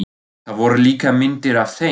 Það voru líka myndir af þeim.